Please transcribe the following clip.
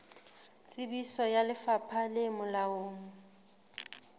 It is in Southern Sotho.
tsebiso ya lefapha le molaong